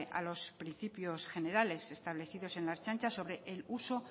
a los principios generales establecidos en el ertzaintza sobre el uso